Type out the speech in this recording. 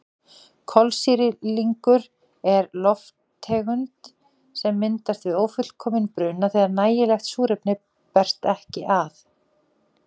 Kolsýrlingur er lofttegund sem myndast við ófullkominn bruna þegar nægilegt súrefni berst ekki að.